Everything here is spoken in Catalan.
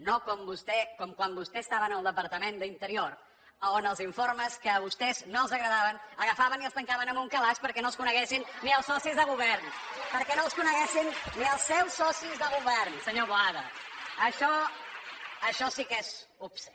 no com quan vostè estava en el departament d’interior on els informes que a vostès no els agradaven agafaven i els tancaven en un calaix perquè no els coneguessin ni els socis de govern perquè no els coneguessin ni els seus socis de govern senyor boada això això sí que és obscè